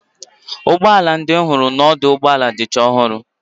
Ugboala ndị m hụrụ n'ọdụ ụgbọala dịcha ọhụrụ.